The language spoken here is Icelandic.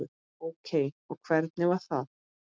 Ókei og hvernig var það?